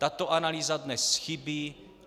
Tato analýza dnes chybí.